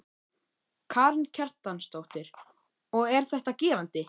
Karen Kjartansdóttir: Og er þetta gefandi?